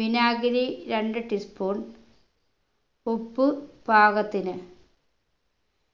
വിനാഗിരി രണ്ട് tea spoon ഉപ്പ് പാകത്തിന്